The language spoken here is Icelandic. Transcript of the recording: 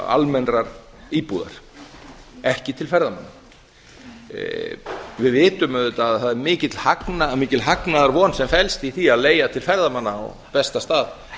almennrar íbúðar ekki til ferðamanna við vitum auðvitað að það er mikil hagnaðarvon sem felst í því að leigja til ferðamanna á besta stað